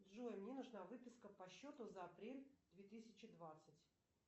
джой мне нужна выписка по счету за апрель две тысячи двадцать